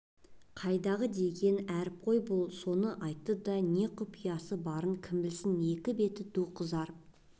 қайдағы деген әріп қой бұл соны айтты да не құпиясы барын кім білсін екі беті ду қызарып